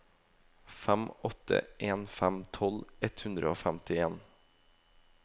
fem åtte en fem tolv ett hundre og femtien